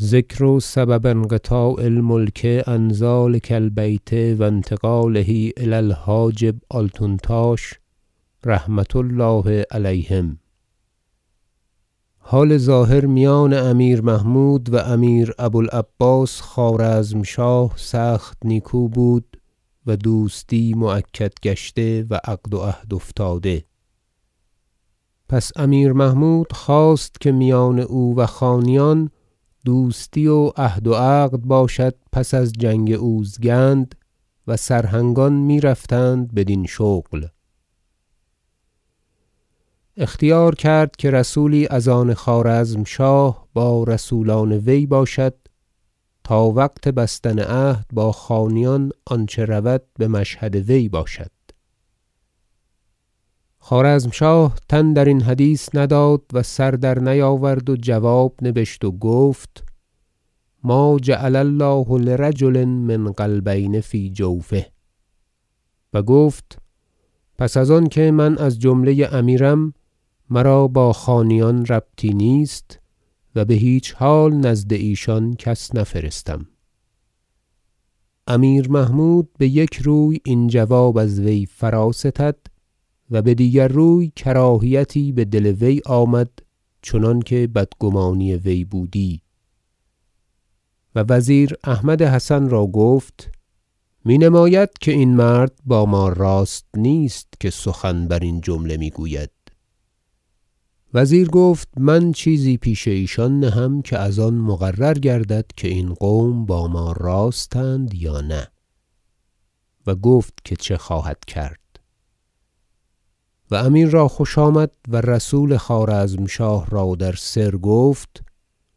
ذکر سبب انقطاع الملک عن ذلک البیت و انتقاله الی الحاجب آلتونتاش رحمة الله علیهم حال ظاهر میان امیر محمود و امیر ابو العباس خوارزمشاه سخت نیکو بود و دوستی مؤکد گشته و عقد و عهد افتاده پس امیر محمود خواست که میان او و خانیان دوستی و عهد و عقد باشد پس از جنگ اوزگند و سرهنگان میرفتند بدین شغل اختیار کرد که رسولی از آن خوارزمشاه با رسولان وی باشد تا وقت بستن عهد با خانیان آنچه رود بمشهد وی باشد خوارزمشاه تن درین حدیث نداد و سر در- نیاورد و جواب نبشت و گفت ما جعل الله لرجل من قلبین فی جوفه و گفت پس از آنکه من از جمله امیرم مرا با خانیان ربطی نیست و بهیچ حال نزد ایشان کس نفرستم امیر محمود بیک روی این جواب از وی فراستد و بدیگر روی کراهیتی بدل وی آمد چنانکه بد گمانی وی بودی و وزیر احمد حسن را گفت مینماید که این مرد با ما راست نیست که سخن برین جمله میگوید وزیر گفت من چیزی پیش ایشان نهم که از آن مقرر گردد که این قوم با ما راستند یا نه و گفت که چه خواهد کرد و امیر را خوش آمد و رسول خوارزمشاه را در سر گفت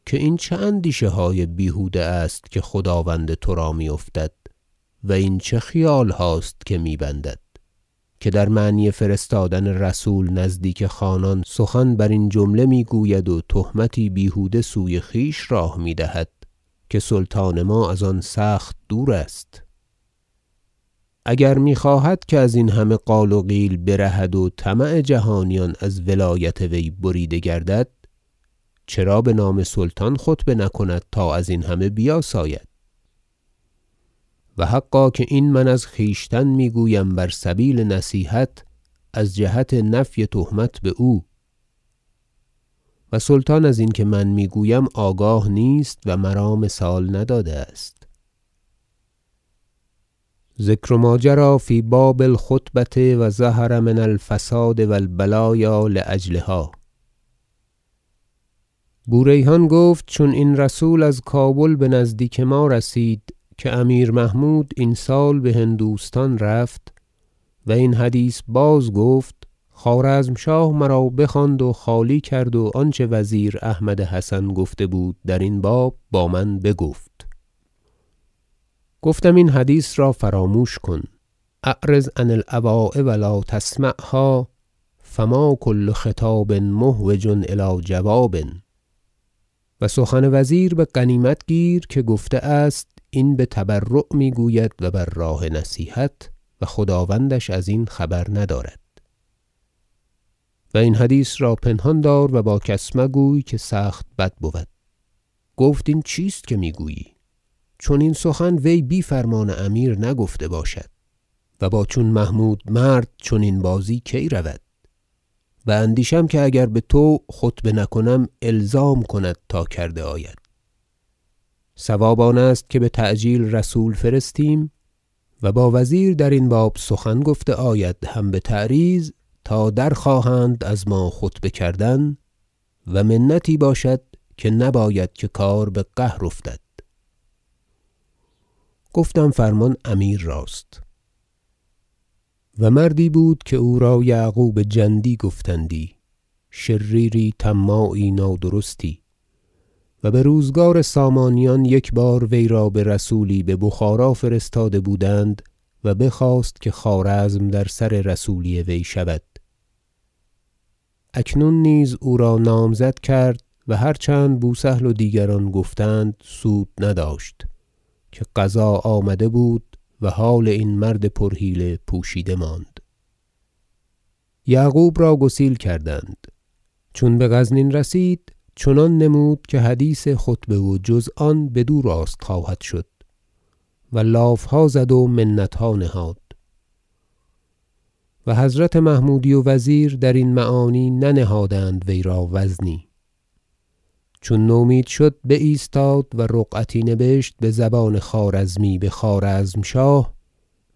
که این چه اندیشه های بیهوده است که خداوند ترا میافتد و این چه خیالهاست که می بندد که در معنی فرستادن رسول نزدیک خانان سخن برین جمله میگوید و تهمتی بیهوده سوی خویش راه میدهد که سلطان ما از آن سخت دور است اگر میخواهد که ازین همه قال و قیل برهد و طمع جهانیان از ولایت وی بریده گردد چرا بنام سلطان خطبه نکند تا ازین همه بیاساید و حقا که این من از خویشتن میگویم بر سبیل نصیحت از جهت نفی تهمت باو و سلطان ازین که من میگویم آگاه نیست و مرا مثال نداده است ذکر ما جری فی باب الخطبة و ظهر من الفساد و البلایا لأجلها بو ریحان گفت چون این رسول از کابل بنزدیک ما رسید- که امیر محمود این سال بهندوستان رفت- و این حدیث باز گفت خوارزمشاه مرا بخواند و خالی کرد و آنچه وزیر احمد حسن گفته بود درین باب با من بگفت گفتم این حدیث را فراموش کن اعرض عن العواء و لا تسمعها فما کل خطاب محوج الی جواب و سخن وزیر بغنیمت گیر که گفته است این بتبرع میگوید و بر راه نصیحت و خداوندش ازین خبر ندارد و این حدیث را پنهان دار و با کس مگوی که سخت بد بود گفت این چیست که میگویی چنین سخن وی بی فرمان امیر نگفته باشد و با چون محمود مرد چنین بازی کی رود و اندیشم که اگر بطوع خطبه نکنم الزام کند تا کرده آید صواب آنست که بتعجیل رسول فرستیم و با وزیر درین باب سخن گفته آید هم بتعریض تا در خواهند از ما خطبه کردن و منتی باشد که نباید که کار بقهر افتد گفتم فرمان امیر راست و مردی بود که او را یعقوب جندی گفتندی شریری طماعی نادرستی و بروزگار سامانیان یک بار ویرا برسولی ببخارا فرستاده بودند و بخواست که خوارزم در سر رسولی وی شود اکنون نیز او را نامزد کرد و هر چند بو سهل و دیگران گفتند سود نداشت که قضا آمده بود و حال این مرد پر حیله پوشیده ماند یعقوب را گسیل کردند چون بغزنین رسید چنان نمود که حدیث خطبه و جز آن بدو راست خواهد شد و لافها زد و منتها نهاد و حضرت محمودی و وزیر درین معانی ننهادند ویرا و زنی چون نومید شد بایستاد و رقعتی نبشت بزبان خوارزمی بخوارزمشاه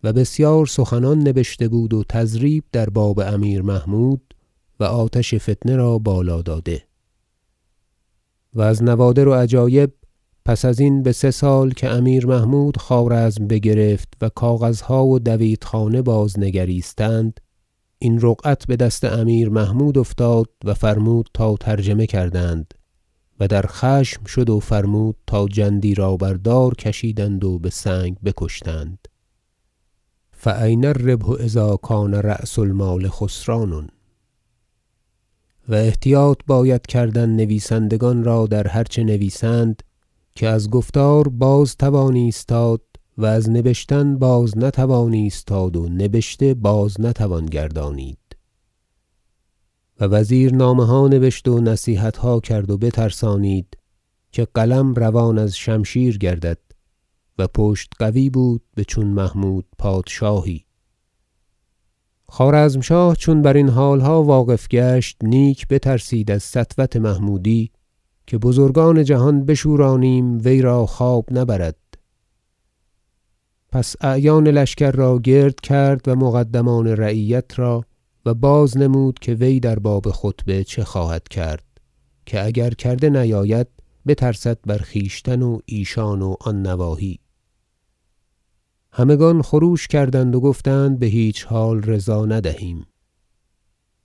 و بسیار سخنان نبشته بود و تضریب در باب امیر محمود و آتش فتنه را بالا داده و از نوادر و عجایب پس ازین به سه سال که امیر محمود خوارزم بگرفت و کاغذها و و دویت خانه بازنگریستند این رقعت بدست امیر محمود افتاد و فرمود تا ترجمه کردند و در خشم شد و فرمود تا جندی را بردار کشیدند و بسنگ بکشتند فأین الربح اذا کان رأس المال خسران و احتیاط باید کردن نویسندگان را در هر چه نویسند که از گفتار بازتوان ایستاد و از نبشتن بازنتوان ایستاد و نبشته بازنتوان گردانید و وزیر نامه ها نبشت و نصیحتها کرد و بترسانید که قلم روان از شمشیر گردد و پشت قوی بود بچون محمود پادشاهی خوارزمشاه چون برین حالها واقف گشت نیک بترسید از سطوت محمودی که بزرگان جهان بشورانیم ویرا خواب نبرد پس اعیان لشکر را گرد کرد و مقدمان رعیت را و بازنمود که وی در باب خطبه چه خواهد کرد که اگر کرده نیاید بترسد بر خویشتن و ایشان و آن نواحی همگان خروش کردند و گفتند بهیچ حال رضا ندهیم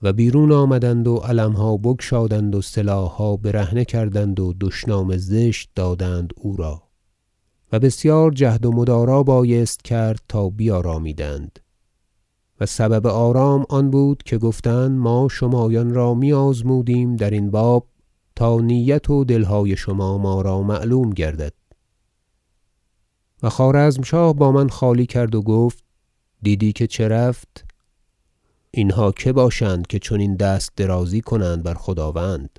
و بیرون آمدند و علمها بگشادند و سلاحها برهنه کردند و دشنام زشت دادند او را و بسیار جهد و مدارا بایست کرد تا بیارامیدند و سبب آرام آن بود که گفتند ما شمایان را میآزمودیم درین باب تا نیت و دلهای شما ما را معلوم گردد و خوارزمشاه با من خالی کرد و گفت دیدی که چه رفت اینها که باشند که چنین دست درازی کنند بر خداوند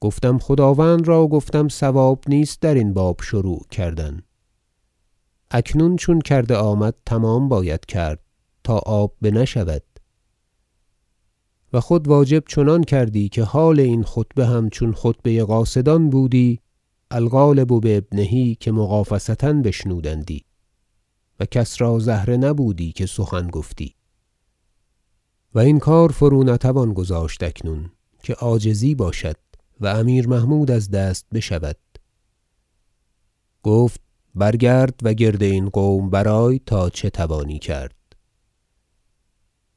گفتم خداوند را گفتم صواب نیست درین باب شروع کردن اکنون چون کرده آمد تمام باید کرد تا آب بنشود و خود واجب چنان کردی که حال این خطبه هم چون خطبه قاصدان بودی الغالب با بنه که مغافصه بشنودندی و کس را زهره نبودی که سخن گفتی و این کار فرونتوان گذاشت اکنون که عاجزی باشد و امیر محمود از دست بشود گفت برگرد و گرد این قوم بر آی تا چه توانی کرد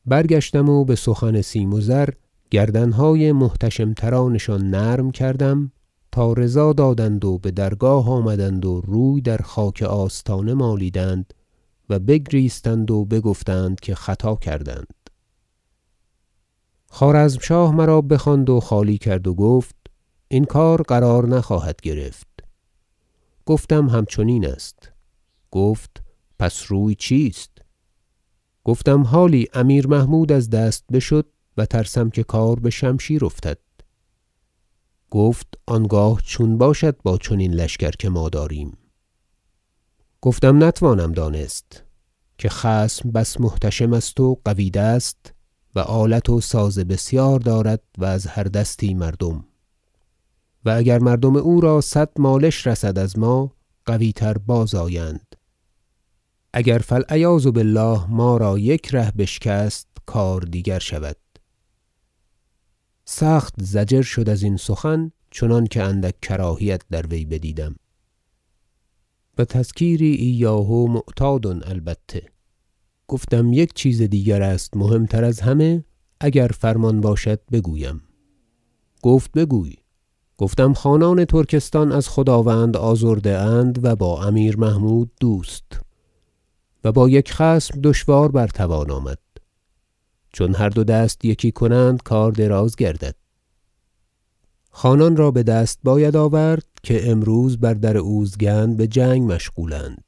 برگشتم و بسخن سیم و زر گردنهای محتشمترانشان نرم کردم تا رضا دادند و بدرگاه آمدند و روی در خاک آستانه مالیدند و بگریستند و بگفتند که خطا کردند خوارزمشاه مرا بخواند و خالی کرد و گفت این کار قرار نخواهد گرفت گفتم همچنین است گفت پس روی چیست گفتم حالی امیر محمود از دست بشد و ترسم که کار بشمشیر افتد گفت آنگاه چون باشد با چنین لشکر که ما داریم گفتم نتوانم دانست که خصم بس محتشم است و قوی دست و آلت و ساز بسیار دارد و از هر دستی مردم و اگر مردم او را صد مالش رسد از ما قویتر بازآیند اگر فالعیاذ بالله ما را یکره بشکست کار دیگر شود سخت ضجر شد ازین سخن چنانکه اندک کراهیت در وی بدیدم و تذکیری ایاه معتاد البته گفتم یک چیز دیگر است مهمتر از همه اگر فرمان باشد بگویم گفت بگوی گفتم خانان ترکستان از خداوند آزرده اند و با امیر محمود دوست و با یک خصم دشوار بر توان آمد چون هر دو دست یکی کنند کار دراز گردد خانان را بدست باید آورد که امروز بر در اوزگند بجنگ مشغولند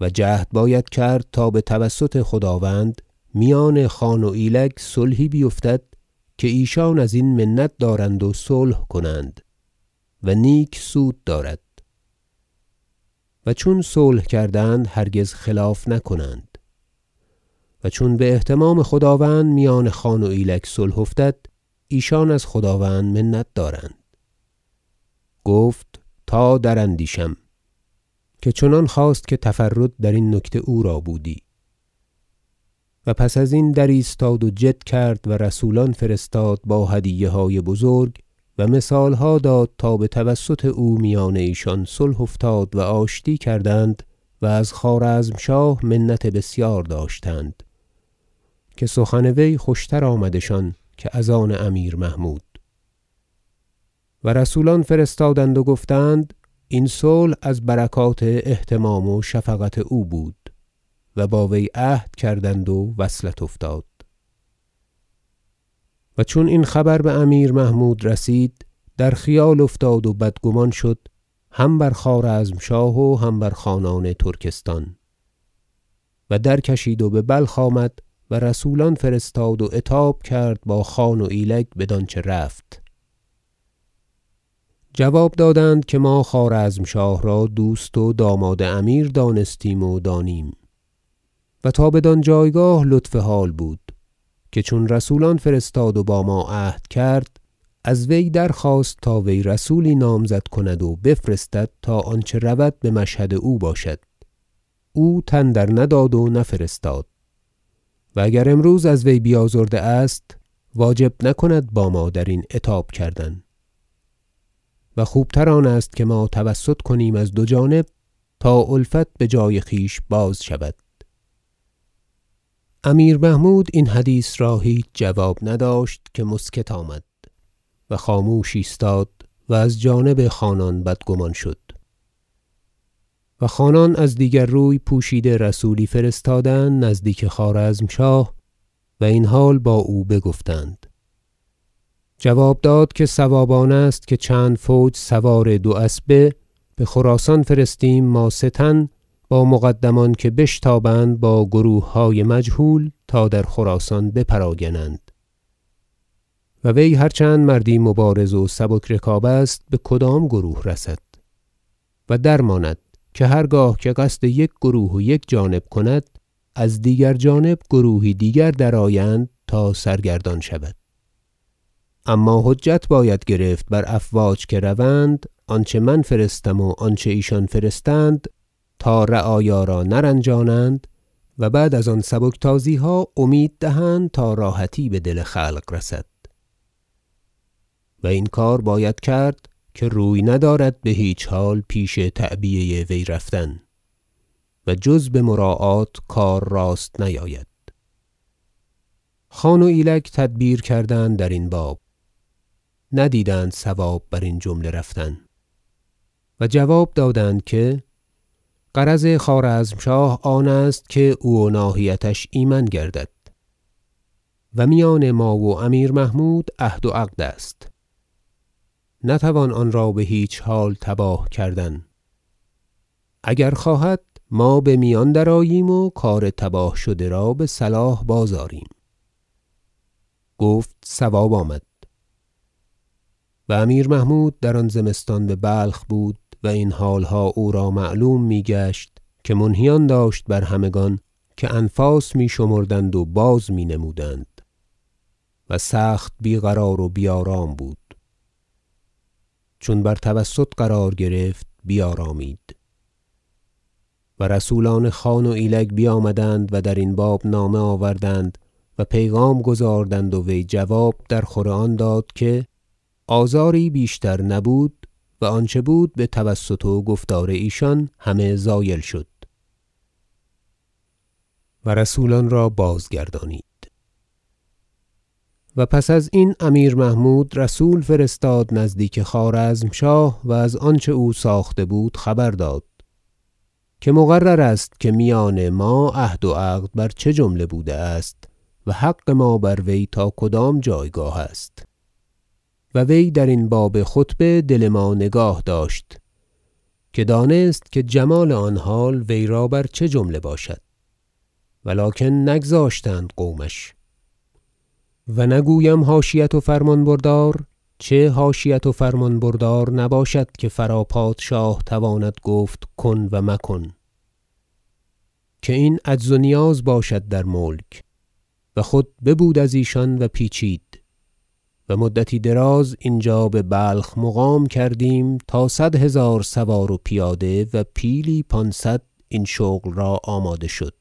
و جهد باید کرد تا بتوسط خداوند میان خان و ایلگ صلحی بیفتد که ایشان ازین منت دارند و صلح کنند و نیک سود دارد و چون صلح کردند هرگز خلاف نکنند و چون باهتمام خداوند میان خان و ایلگ صلح افتد ایشان از خداوند منت دارند گفت تا در اندیشم که چنان خواست که تفرد درین نکته او را بودی و پس ازین درایستاد و جد کرد و رسولان فرستاد با هدیه های بزرگ و مثالها داد تا بتوسط او میان ایشان صلح افتاد و آشتی کردند و از خوارزمشاه منت بسیار داشتند که سخن وی خوشتر آمدشان که از آن امیر محمود و رسولان فرستادند و گفتند که این صلح از برکات اهتمام و شفقت او بود و با وی عهد کردند و وصلت افتاد و چون این خبر بامیر محمود رسید در خیال افتاد و بدگمان شد هم بر خوارزمشاه و هم بر خانان ترکستان و درکشید و ببلخ آمد و رسولان فرستاد و عتاب کرد با خان و ایلگ بدانچه رفت جواب دادند که ما خوارزمشاه را دوست و داماد امیر دانستیم و دانیم و تا بدان جایگاه لطف حال بود که چون رسولان فرستاد و با ما عهد کرد از وی درخواست تا وی رسولی نامزد کند و بفرستد تا آنچه رود بمشهد او باشد او تن درنداد و نفرستاد و اگر امروز از وی بیازرده است واجب نکند با ما درین عتاب کردن و خوبتر آنست که ما توسط کنیم از دو جانب تا الفت بجای خویش باز شود امیر محمود این حدیث را هیچ جواب نداشت که مسکت آمد و خاموش ایستاد و از جانب خانان بدگمان شد و خانان از دیگر روی پوشیده رسولی فرستادند نزدیک خوارزمشاه و این حال با او بگفتند جواب داد که صواب آنست که چند فوج سوار دو اسبه بخراسان فرستیم ما سه تن با مقدمان که بشتابند با گروههای مجهول تا در خراسان بپراگنند و وی هر چند مردی مبارز و سبک رکاب است بکدام گروه رسد و درماند که هرگاه که قصد یک گروه و یک جانب کند از دیگر جانب گروهی دیگر درآیند تا سرگردان شود اما حجت باید گرفت بر افواج که روند آنچه من فرستم و آنچه ایشان فرستند تا رعایا را نرنجانند و بعد از آن سبکتازیها امید دهند تا راحتی بدل خلق رسد و این کار باید کرد که روی ندارد بهیچ حال پیش تعبیه وی رفتن و جز بمراعات کار راست نیاید خان و ایلگ تدبیر کردند درین باب ندیدند صواب برین جمله رفتن و جواب دادند که غرض خوارزمشاه آنست که او و ناحیتش ایمن گردد و میان ما و امیر محمود عهد و عقد است نتوان آنرا بهیچ حال تباه کردن اگر خواهد ما بمیان درآییم و کار تباه شده را بصلاح باز آریم گفت صواب آمد و امیر محمود در آن زمستان ببلخ بود و این حالها او را معلوم میگشت که منهیان داشت بر همگان که انفاس میشمردند و باز مینمودند و سخت بیقرار و بی آرام بود چون بر توسط قرار گرفت بیارامید و رسولان خان و ایلگ بیامدند و درین باب نامه آوردند و پیغام گزاردند و وی جواب درخور آن داد که آزاری بیشتر نبود و آنچه بود بتوسط و گفتار ایشان همه زایل شد و رسولان را بازگردانیدند و پس ازین امیر محمود رسول فرستاد نزدیک خوارزمشاه و از آنچه او ساخته بود خبر داد که مقرر است که میان ما عهد و عقد بر چه جمله بوده است و حق ما بر وی تا کدام جایگاه است و وی درین باب خطبه دل ما نگاه داشت که دانست که جمال آن حال ویرا بر چه جمله باشد ولکن نگذاشتند قومش و نگویم حاشیت و فرمان- بردار چه حاشیت و فرمان بردار نباشد که فرا پادشاه تواند گفت کن و مکن که این عجز و نیاز باشد در ملک و خود ببود ازیشان و پیچید و مدتی دراز اینجا ببلخ مقام کردیم تا صد هزار سوار و پیاده و پیلی پانصد این شغل را آماده شد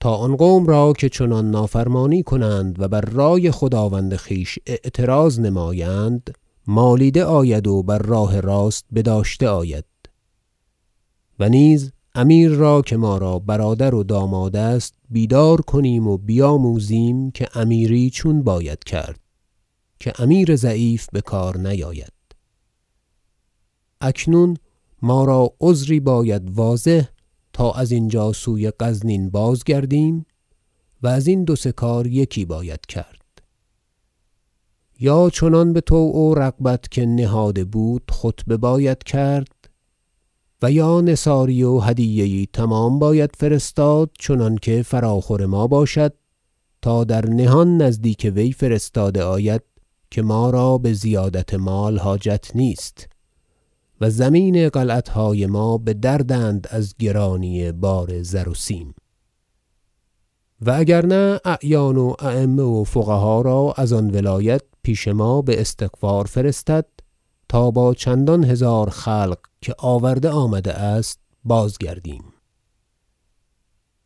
تا آن قوم را که چنان نافرمانی کنند و بر رای خداوند خویش اعتراض نمایند مالیده آید و بر راه راست بداشته آید و نیز امیر را که ما را برادر و داماد است بیدار کنیم و بیاموزیم که امیری چون باید کرد که امیر ضعیف بکار نیاید اکنون ما را عذری باید واضح تا از اینجا سوی غزنین بازگردیم و ازین دو سه کار یکی باید کرد یا چنان بطوع و رغبت که نهاده بود خطبه باید کرد و یا نثاری و هدیه یی تمام باید فرستاد چنانکه فراخور ما باشد تا در نهان نزدیک وی فرستاده آید که ما را بزیادت مال حاجت نیست و زمین قلعتهای ما بدرند از گرانی بار زر و سیم و اگر نه اعیان و ایمه و فقها را از آن ولایت پیش ما باستغفار فرستد تا ما با چند هزار خلق که آورده آمده است بازگردیم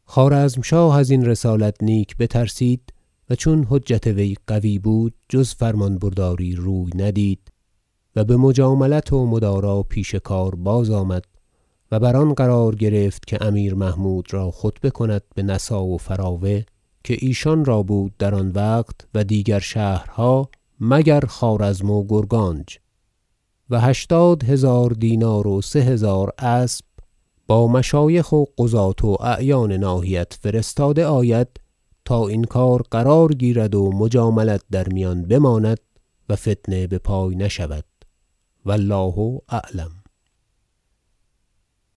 خوارزمشاه ازین رسالت نیک بترسید و چون حجت وی قوی بود جز فرمان برداری روی ندید و بمجاملت و مدارا پیش کار بازآمد و بر آن قرار گرفت که امیر محمود را خطبه کند به نسا و فراوه که ایشان را بود در آن وقت و دیگر شهرها مگر خوارزم و گرگانج و هشتاد هزار دینار و سه هزار اسب با مشایخ و قضاة و اعیان ناحیت فرستاده آید تا این کار قرار گیرد و مجاملت در میان بماند و فتنه بپای نشود و الله اعلم